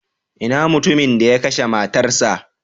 Ina mutumin da ya kashe matarsa?